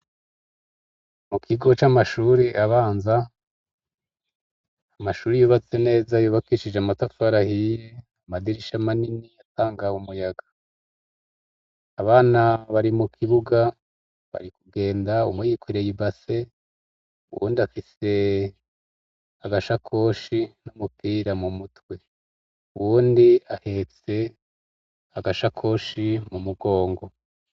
Mu kigo c'amashuri abanza amashuri yubatse neza yubakishije amatafarahiye amadirisha manini yatangawe umuyaga abana bari mu kibuga bari kugenda umuyikoreye ibase uwundi afise agashako oshi n'umupira mu mutwe uwundi ahetse agasha koshi mu mugongo.